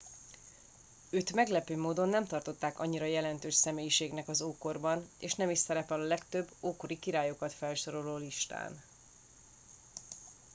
őt meglepő módon nem tartották annyira jelentős személyiségnek az ókorban és nem is szerepel a legtöbb ókori királyokat felsoroló listán